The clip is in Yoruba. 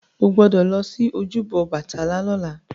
Ó gbọ́dọ̀ lọ sí ojúbọ Ọbàtálá lọ́la!